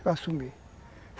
Eu assumi.